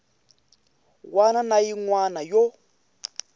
wana na yin wana yo